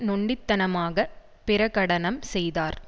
நொண்டித்தனமாக பிரகடனம் செய்தார்